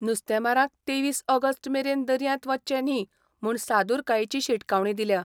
नुस्तेंमारांक तेवीस ऑगस्ट मेरेन दर्यांत वचचें न्ही म्हूण सादूरकायेची शिटकावणी दिल्या.